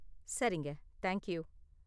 சரிங்க, thank you!